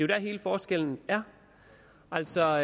der hele forskellen er altså